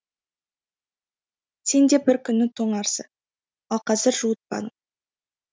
сенде бір күні тоңарсы ал қазір жуытпады